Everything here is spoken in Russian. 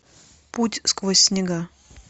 путь сквозь снега